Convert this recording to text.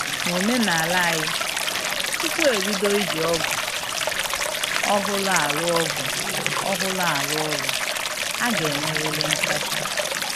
N'omenala anyị, tupu e bido iji ọgụ ọhụrụ arụ ọgụ ọhụrụ arụ ọrụ, a ga-emerịrị nsacha